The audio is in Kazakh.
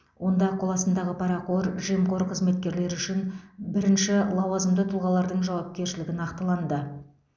онда қоластындағы парақор жемқор қызметкерлер үшін бірінші лауазымды тұлғалардың жауапкершілігі нақтыланды